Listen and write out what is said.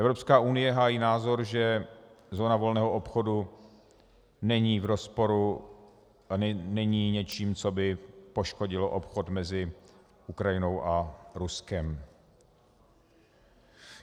Evropská unie hájí názor, že zóna volného obchodu není v rozporu a není něčím, co by poškodilo obchod mezi Ukrajinou a Ruskem.